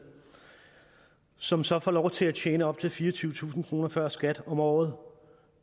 som så får lov til at tjene op til fireogtyvetusind kroner før skat om året